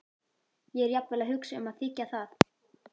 Ég er jafnvel að hugsa um að þiggja það.